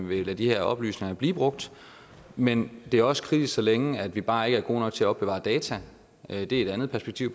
ville lade de her oplysninger blive brugt men det er også kritisk så længe vi bare ikke er gode nok til at opbevare data det er et andet perspektiv